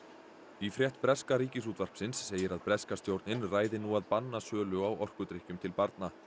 í frétt breska Ríkisútvarpsins segir að breska stjórnin ræði nú að banna sölu á orkudrykkjum til barna